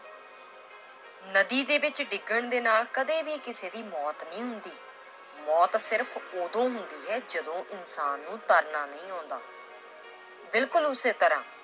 ਨਦੀ ਦੇ ਵਿੱਚ ਡਿੱਗਣ ਦੇ ਨਾਲ ਕਦੇ ਵੀ ਕਿਸੇ ਦੀ ਮੌਤ ਨਹੀਂ ਹੁੰਦੀ, ਮੌਤ ਸਿਰਫ਼ ਉਦੋਂ ਹੁੰਦੀ ਹੈ ਜਦੋਂ ਇਨਸਾਨ ਨੂੰ ਤਰਨਾ ਨਹੀਂ ਆਉਂਦਾ l ਬਿਲਕੁਲ ਉਸੇ ਤਰ੍ਹਾਂ